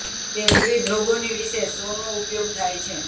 તે વિવિધ રોગોની વિશે સો નો ઉપયોગ થાય છે